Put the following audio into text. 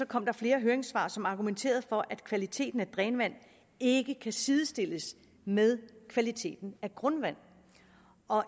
kom der flere høringssvar som argumenterede for at kvaliteten af drænvand ikke kan sidestilles med kvaliteten af grundvand